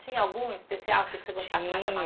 Tinha algum especial que você gostasse mais da tinha...